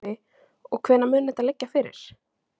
Sölvi: Og hvenær mun þetta liggja fyrir?